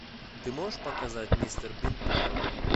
ты можешь показать мистер бин похороны